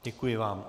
Děkuji vám.